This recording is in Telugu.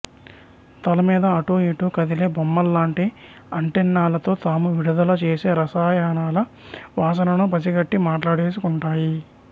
తల మీద అటూ ఇటూ కదిలే కొమ్ముల్లాంటి అంటెన్నాలతో తాము విడుదల చేసే రసాయనాల వాసనను పసిగట్టి మాట్లాడేసుకుంటాయి